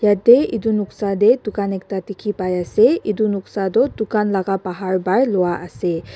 yatae edu noksa tae dukan ekta dikhipaiase edu noksa toh dukan laka bahar para lwa ase.